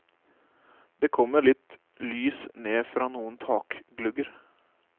Det kommer litt lys ned fra noen takglugger.